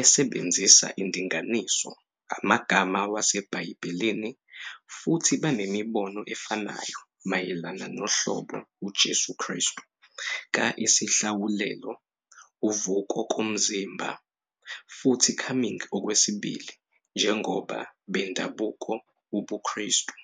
esebenzisa indinganiso amagama waseBhayibhelini futhi banemibono efanayo mayelana nohlobo uJesu Kristu ka- isihlawulelo, uvuko komzimba, futhi Coming Okwesibili njengoba bendabuko ubuKristu.